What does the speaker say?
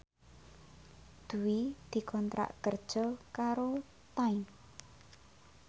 Dwi dikontrak kerja karo Time